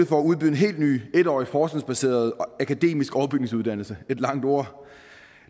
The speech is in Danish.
for at udbyde en helt ny en årig forskningsbaseret akademisk overbygningsuddannelse